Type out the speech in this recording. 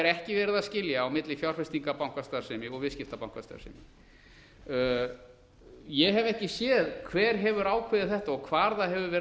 er ekki verið að skilja á milli fjárfestingarbankastarfsemi og viðskiptabankastarfsemi ég hef ekki séð hver hefur ákveðið þetta og hvar það hefur